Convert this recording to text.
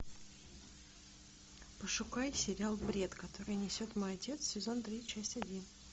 пошукай сериал бред который несет мой отец сезон три часть один